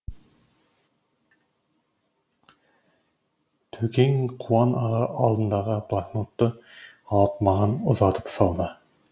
төкең қуан аға алдындағы блокнотты алып маған ұзатып салды